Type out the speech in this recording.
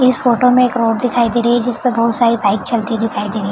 इस फोटो में एक रोड दिखाई दे रही है जिस पर बहुत सारी बाइक चलती हुई दिखाई दे रही --